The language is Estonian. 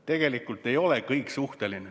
Tegelikult ei ole kõik suhteline.